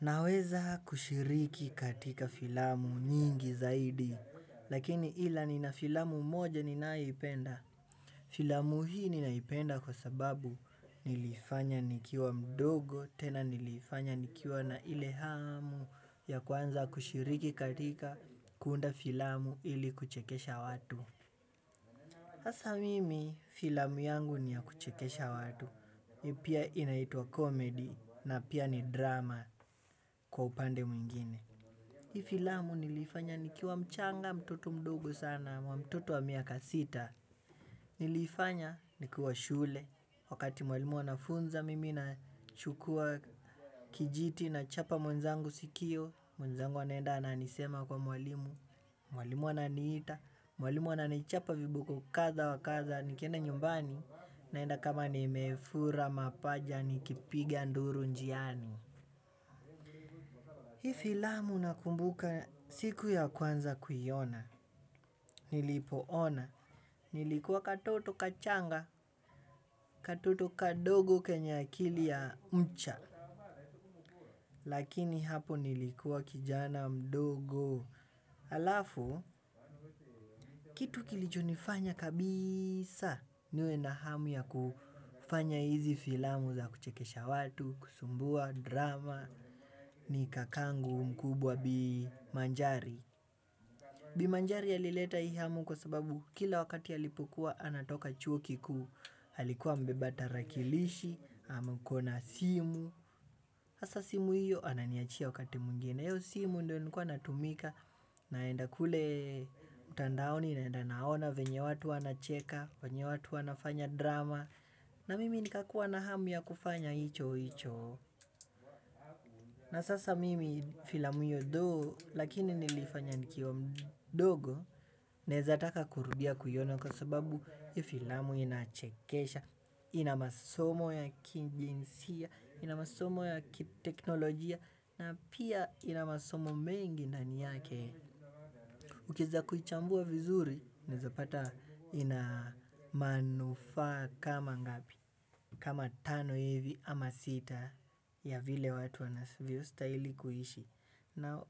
Naweza kushiriki katika filamu nyingi zaidi, lakini ila nina filamu moja ninayoipenda. Filamu hii ninaipenda kwa sababu nili ifanya nikiwa mdogo tena nili ifanya nikiwa na ilehamu ya kuanza kushiriki katika kuunda filamu ili kuchekesha watu. Sasa mimi filamu yangu ni ya kuchekesha watu iyo pia inaitwa comedy na pia ni drama kwa upande mwengine hii filamu nili ifanya nikiwa mchanga mtoto mdogo sana wa mtoto wa miaka sita. Niliifanya nikuwa shule. Wakati mwalimu anafunza mimi nachukua kijiti na chapa mwenzangu sikio. Mwenzangu anaenda ananisema kwa mwalimu. Mwalimu ananiita. Mwalimu ananichapa viboko kadha wa kadha. Nikienda nyumbani naenda kama nimefura mapaja nikipigia nduru njiani. Hii filamu nakumbuka siku ya kwanza kuiona, nilipoona, nilikuwa katoto kachanga, katoto kadogo kenye akili ya mcha, lakini hapo nilikuwa kijana mdogo, alafu, kitu kilicho nifanya kabisa, niwe na hamu ya kufanya hizi filamu za kuchekesha watu, kusumbua, drama, ni kakangu mkubwa bimanjari. Bimanjari alileta hii hamu kwa sababu kila wakati ya alipokuwa anatoka chuo kikuu alikuwa amebeba tarakilishi, ama akona simu hasa simu hiyo ananiachia wakati mwengine na hiyo simu ndio nilikuwa natumika naenda kule mtandaoni naenda naona venye watu wanacheka. Venye watu wanafanya drama na mimi nikakua na hamu ya kufanya hicho hicho. Na sasa mimi filamu hiyo though lakini nilifanya nikiwa mdogo naezataka kurudia kuiona kwa sababu hiyo filamu inachekesha, inamasomo ya kijinsia, inamasomo ya teknolojia na pia inamasomo mengi ndani yake. Ukieza kuichambua vizuri unaeza pata ina manufaa kama ngapi kama tano hivi ama sita ya vile watu wanavyo stahili kuishi. Na